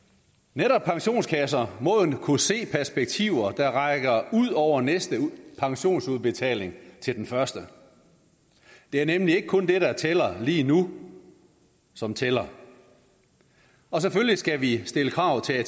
netop pensionskasser må jo kunne se perspektiver der rækker ud over næste pensionsudbetaling til den første det er nemlig ikke kun det der tæller lige nu som tæller selvfølgelig skal vi stille krav til